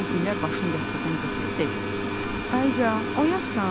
Sonra Gülər başını yastıqdan götürüb dedi: "Ayza, oyaqsan?